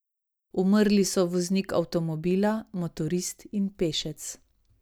Umrli so voznik avtomobila, motorist in pešec.